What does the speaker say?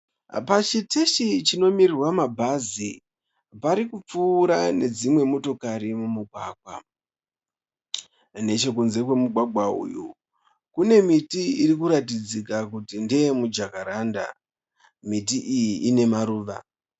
Pachiteshi chinomirirwa mabhanzi. Parikupfuura nedzimwe motokari mumugwagwa. Nechekunze kwemugwagwa uyu, kune miti irikuratidzika kuti ndeyemujakaranda. Miti iyi inemaruva.